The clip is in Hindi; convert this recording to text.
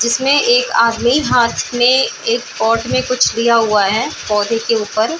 जिसमें एक आदमी हाथ में एक पॉट में कुछ लिया हुआ है पौधे के ऊपर --